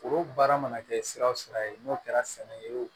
O baara mana kɛ sira o sira ye n'o kɛra sɛnɛ ye o